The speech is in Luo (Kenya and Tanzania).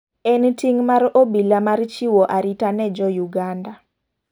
En ting' mar obila mar chiwo arita ne jo Uganda.